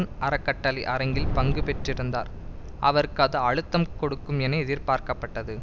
ஓர் அறக்கட்டளை அரங்கில் பங்கு பெற்றிருந்தார் அவருக்கு அது அழுத்தம் கொடுக்கும் என எதிர்பார்க்கப்பட்டது